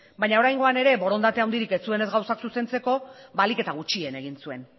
baina oraingoan ere borondate handirik ez zuenez gauzak zuzentzeko ahalik eta gutxien egin zuen